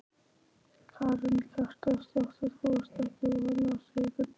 Karen Kjartansdóttir: Þú ert ekkert voðalega hrifinn?